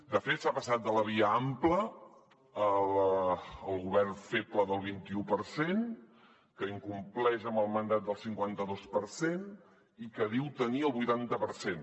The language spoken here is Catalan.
de fet s’ha passat de la via ampla al govern feble del vint i u per cent que incompleix amb el mandat del cinquanta dos per cent i que diu tenir el vuitanta per cent